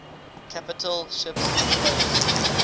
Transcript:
capital ships posed